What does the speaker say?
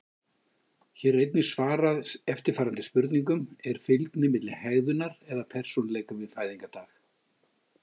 Hér er einnig svarað eftirfarandi spurningum: Er fylgni milli hegðunar eða persónuleika við fæðingardag?